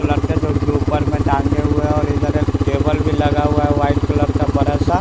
colour के जो कि ऊपर में टांगे हुए और इधर एक टेबल भी लगा हुआ है वाइट कलर का बड़ा सा --